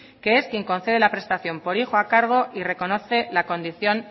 que es quien concede la prestación por hijo a cargo y reconoce la condición